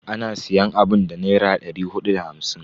Ana siyan abun da Naira dari hudu da hamsin.